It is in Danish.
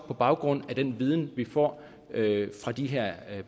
på baggrund af den viden vi får fra de her